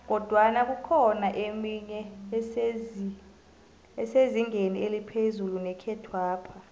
kodwana kukhona emenye esezingeni eliphezu nekhethwapha